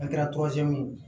An kɛra ye